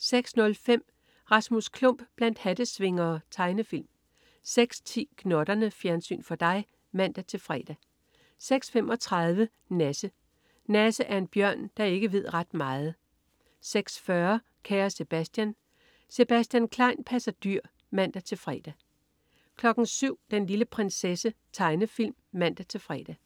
06.05 Rasmus Klump blandt hattesvingere. Tegnefilm 06.10 Gnotterne. Fjernsyn for dig (man-fre) 06.35 Nasse. Nasse er en bjørn, der ikke ved ret meget 06.40 Kære Sebastian. Sebastian Klein passer dyr (man-fre) 07.00 Den lille prinsesse. Tegnefilm (man-fre)